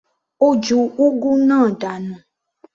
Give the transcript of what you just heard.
Ó ju úgú náà dànù.